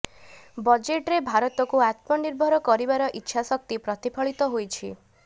ବଜେଟରେ ଭାରତକୁ ଆତ୍ମନିର୍ଭର କରିବାର ଇଛା ଶକ୍ତି ପ୍ରତିଫଳିତ ହୋଇଛି